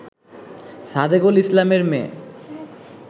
সাদেকুল ইসলামের মেয়ে